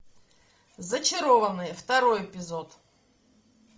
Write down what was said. зачарованные второй эпизод